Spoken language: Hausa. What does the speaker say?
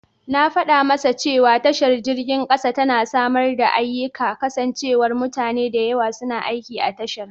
Na fada masa cewa tashar jirgin kasa tana samar da ayyika kasancewar mutane da yawa suna aiki a tashar.